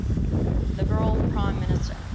liberal prime minister